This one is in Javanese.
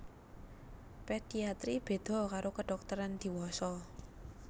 Pediatri béda karo kedhokteran diwasa